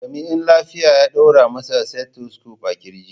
Jami'in lafiya ya ɗaura mai stethoscope a ƙirji.